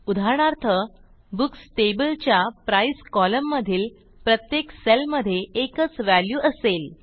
उदाहरणार्थ books table च्या price column मधील प्रत्येक सेल मधे एकच व्हॅल्यू असेल